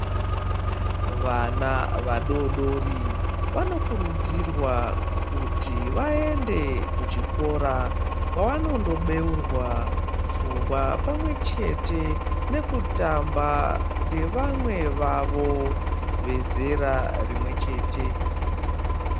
Vana vadodori vanokurudzirwa kuti vaende kuchikora kwavanondobeurwa pfungwa pamwechete nekutamba nevamwe vavo vezera rimwechete.